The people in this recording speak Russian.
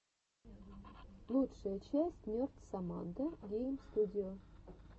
лучшая часть нерд соммандо гейм студио